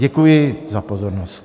Děkuji za pozornost.